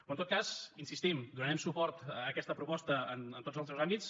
però en tot cas hi insistim donarem suport a aquesta proposta en tots els seus àmbits